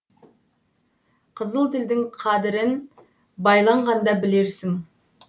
қызыл тілдің қадырын байланғанда білерсің